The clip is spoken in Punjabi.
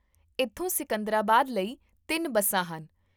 ਇੱਥੋਂ ਸਿਕੰਦਰਾਬਾਦ ਲਈ ਤਿੰਨ ਬੱਸਾਂ ਹਨ